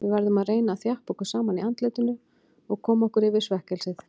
Við verðum að reyna að þjappa okkur saman í andlitinu og koma okkur yfir svekkelsið.